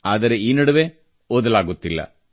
ಆದರೆ ಈ ನಡುವೆ ಓದಲಾಗುತ್ತಿಲ್ಲ